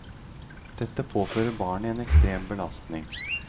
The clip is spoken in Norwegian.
Dette påfører barnet en ekstrem belastning.